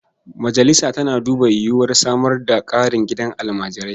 Majalisa tana duba yiwuwar samar da ƙarin gidajen almajirai.